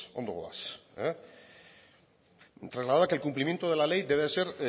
ondo goaz trasladaba que el cumplimiento de ley debe de ser